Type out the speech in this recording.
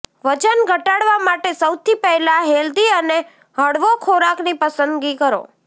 વજન ઘટાડવા માટે સૌથી પહેલા હેલ્થી અને હળવો ખોરાકની પસંદગી કરો